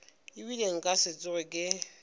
ebile nka se tsoge ke